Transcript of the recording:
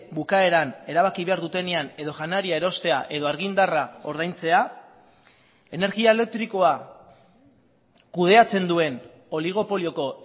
bukaeran erabaki behar dutenean edo janaria erostea edo argindarra ordaintzea energia elektrikoa kudeatzen duen oligopolioko